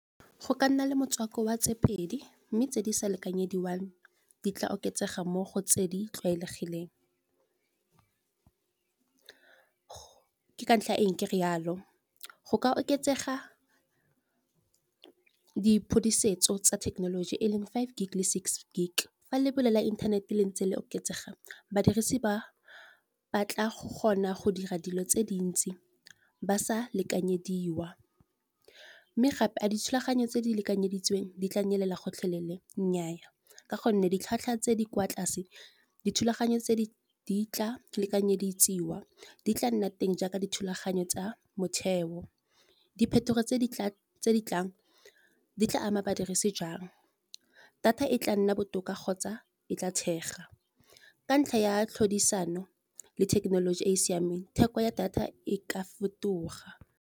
Go ka nna le motswako wa tse pedi mme tse di sa lekanyediwang di tla oketsega mo go tse di tlwaelegileng. Ke ka ntlha ya eng ke re jalo, go ka oketsega diphodisetso tsa thekenoloji e leng five gig le six gig, fa lebelo la inthanete leng tse le oketsegang badirisi ba batla kgona go dira dilo tse dintsi, ba sa lekanyediwa. Mme gape a dithulaganyo tse di lekanyeditsweng di tla nyelela gotlhelele nnyaa, ka gonne ditlhwatlhwa tse di kwa tlase dithulaganyo tse di tla lekanyetsiwa, di tla nna teng jaaka dithulaganyo tsa motheo. Diphetogo tse di tlang di tla ama badirisi jang, data e tla nna botoka kgotsa e tla thega ka ntlha ya tlhodisano, le thekenoloji e e siameng theko ya data e ka fetoga.